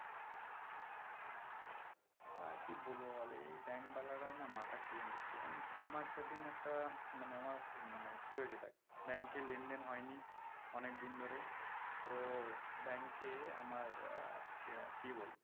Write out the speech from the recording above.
আরকি বলবো বল এই bank ওয়ালারা না মাথা খেয়ে নিচ্ছে জানিস আমার সেদিন একটা মানে আমার মানে কি হয়েছে দেখ bank এ লেনদেন হয়নি অনেকদিন ধরেই তো bank আমার আহ কি আহ বলবো